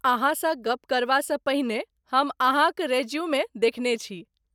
अहाँसँ गप करबासँ पहिने हम अहाँक रेज्यूमे देखने छी।